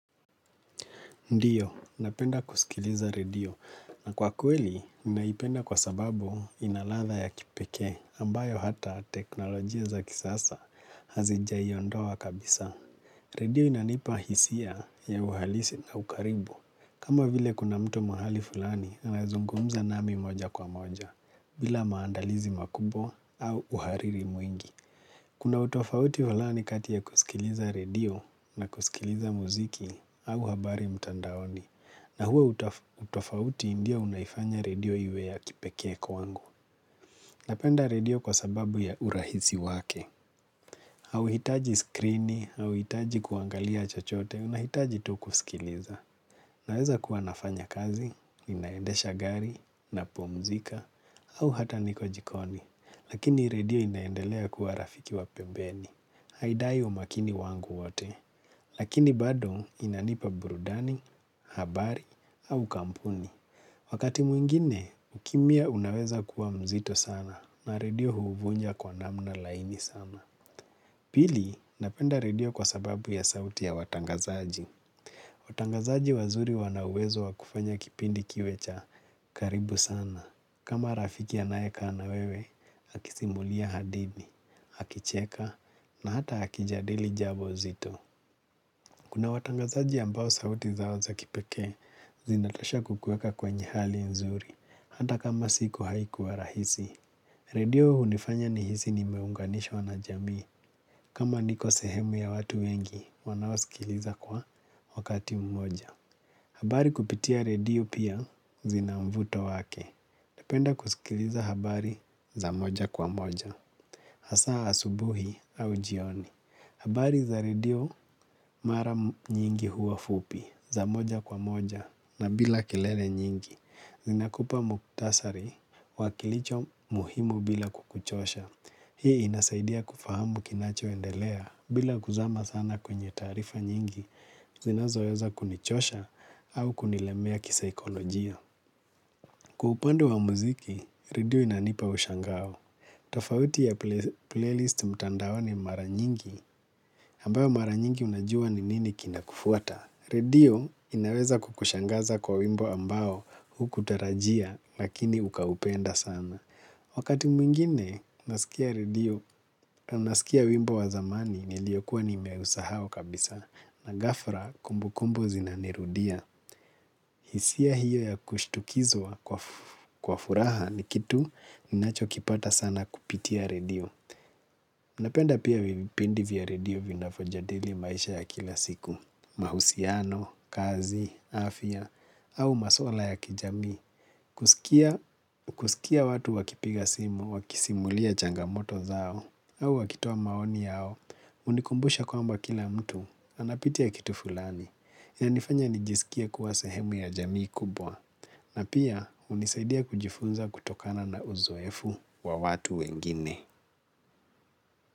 Ndiyo, napenda kusikiliza radio. Na kwa kweli, ninaipenda kwa sababu inaladha ya kipekee ambayo hata teknolojia za kisasa hazijaiondoa kabisa. Radio inanipa hisia ya uhalisi na ukaribu. Kama vile kuna mtu mahali fulani anazungumza nami moja kwa moja, bila maandalizi makubwa au uhariri mwingi. Kuna utofauti wa lani kati ya kusikiliza radio na kusikiliza muziki au habari mtandaoni na huo utofauti ndio unaifanya radio iwe ya kipekee kwangu. Napenda radio kwa sababu ya urahisi wake hauhitaji skrini auhitaji kuangalia chochote unahitaji to kusikiliza. Naeza kuwanafanya kazi, inaendesha gari, napomzika au hata niko jikoni lakini radio inaendelea kuwa rafiki wa pembeni. Haidai wa makini wangu wate, lakini bado inanipa burudani, habari, au kampuni. Wakati mwingine, ukimya unaweza kuwa mzito sana na redio huuvunja kwa namna laini sana. Pili, napenda redio kwa sababu ya sauti ya watangazaji. Watangazaji wazuri wanawezo wakufanya kipindi kiwe cha karibu sana. Kama rafikia anae kaa na wewe, akisimulia hadithi, akicheka, na hata akijadili jambo zito. Kuna watangazaji ambao sauti zao za kipeke, zinatosha kukueka kwenye hali nzuri, hata kama siku haikuwa rahisi. Redio hunifanya nihisi ni meunganishwa na jamii, kama niko sehemu ya watu wengi, wanaosikiliza kwa wakati mmoja. Habari kupitia redio pia zinamvuto wake. Napenda kusikiliza habari za moja kwa moja. Hasa asubuhi au jioni. Habari za redio mara nyingi huwa fupi za moja kwa moja na bila kilele nyingi. Zinakupa muktasari wakilicho muhimu bila kukuchosha. Hii inasaidia kufahamu kinachoendelea bila kuzama sana kwenye tarifa nyingi zinazo weza kunichosha au kunilemea kisikolojia. Kwa upande wa muziki, redio inanipa ushangao. Tafauti ya playlist mtandaoni mara nyingi ambayo mara nyingi unajua ni nini kinakufuata. Redio inaweza kukushangaza kwa wimbo ambao hukutarajia lakini ukaupenda sana. Wakati mwingine nasikia radio, nasikia wimbo wa zamani niliyokuwa nimeusahau kabisa na gafla kumbukumbu zinanirudia. Hisia hiyo ya kushtukizwa kwa furaha ni kitu ninacho kipata sana kupitia radio. Napenda pia vipindi vya radio vinavyo jadili maisha ya kila siku. Mahusiano, kazi, afya au maswala ya kijamii. Kusikia watu wakipiga simu, wakisimulia changamoto zao au wakitoa maoni yao hunikumbusha kwamba kila mtu anapitia kitu fulani yanifanya nijisikie kuwa sahemu ya jamii kubwa na pia unisaidia kujifunza kutokana na uzoefu wa watu wengine.